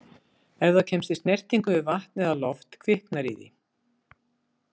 Ef það kemst í snertingu við vatn eða loft kviknar í því.